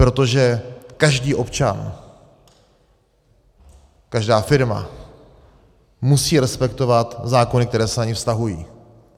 Protože každý občan, každá firma musí respektovat zákony, které se na ni vztahují.